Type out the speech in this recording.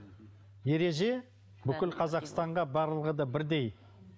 ереже бүкіл қазақстанға барлығы да бірдей